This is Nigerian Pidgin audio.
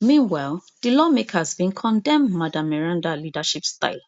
meanwhile di lawmakers bin commend madam meranda leadership style